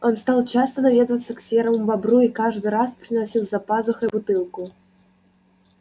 он стал часто наведываться к серому бобру и каждый раз приносил за пазухой бутылку